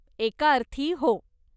एका अर्थी, हो.